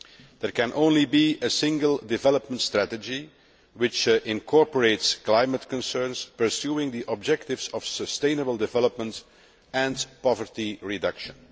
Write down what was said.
There can only be a single development strategy, which incorporates climate concerns pursuing the objectives of sustainable development and poverty reduction.